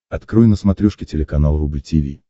открой на смотрешке телеканал рубль ти ви